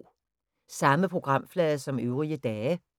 Samme programflade som øvrige dage